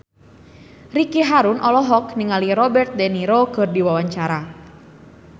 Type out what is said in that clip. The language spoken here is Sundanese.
Ricky Harun olohok ningali Robert de Niro keur diwawancara